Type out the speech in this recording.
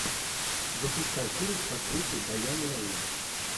запускай фильм с актрисой дайан лэйн